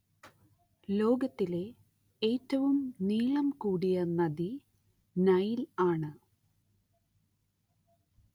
ലോകത്തിലെ ഏറ്റവും നീളം കൂടിയ നദി നൈല്‍ ആണ്